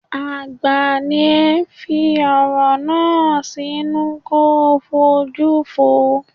Àgbà ní ọ, fi ọ̀rọ̀ náà sínú ko ṣojú fúrú.